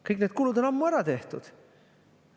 Kõik need kulud on ammu ära tehtud.